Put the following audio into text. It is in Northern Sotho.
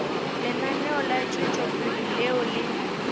lenaneo la tšwetšopele leo le